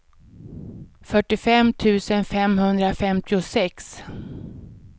fyrtiofem tusen femhundrafemtiosex